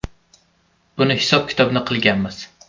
Buni hisob-kitobini qilganmiz.